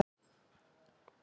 Hann heldur við uppistöðurnar.